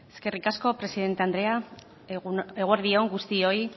eskerrik asko presidente andrea eguerdi on guztioi